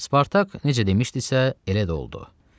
Spartak necə demişdisə, elə də oldu.